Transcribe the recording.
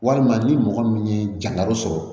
Walima ni mɔgɔ min ye jagaro sɔrɔ